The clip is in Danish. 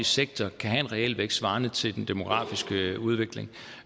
sektor kan have en realvækst svarende til den demografiske udvikling